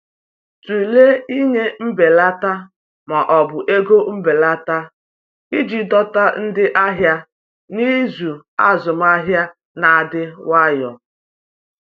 Tụlee ịnye mbelata ma ọ bụ ego mbelata iji dọta ndị ahịa n’izu azụmahịa na-adị nwayọ.